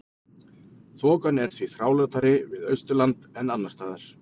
Þokan er því þrálátari við Austurland en annars staðar.